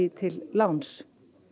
til láns